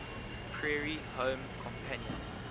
prairie home companion